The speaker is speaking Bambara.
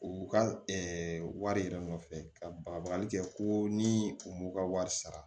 U ka wari yɛrɛ nɔfɛ ka bagali kɛ ko ni u m'u ka wari sara